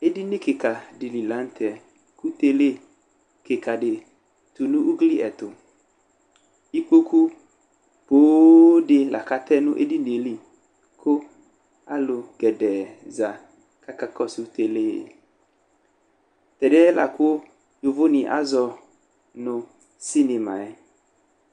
Edini kika di li laŋtɛ Kʋ tele di tu nʋ ugliɛtuIkpoku pooo di lakatɛ nʋ edinie liKʋ alu gɛdɛɛ za kakakɔsʋ teleeTɛdiɛ lakʋ yovo nu azɔ cinema yɛ